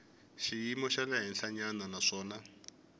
xiyimo xa le henhlanyana naswona